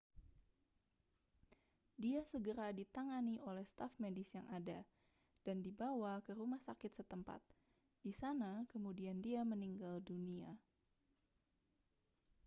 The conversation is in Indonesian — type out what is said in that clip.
dia segera ditangani oleh staf medis yang ada dan dibawa ke rumah sakit setempat di sana kemudian dia meninggal dunia